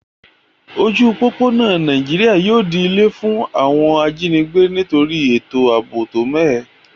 Ojú òpópónà Naijiri yio di ilé fún àwon ajínigbé nítorí ètò àbò tó mẹ́hẹ